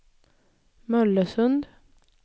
Mollösund